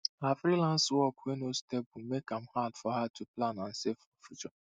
her freelance work wey no stable make am hard for her to plan and save for future